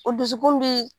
O dusukun bi